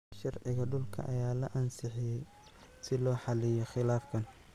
Sharciga dhulka ayaa la ansixiyay si loo xalliyo khilaafkan.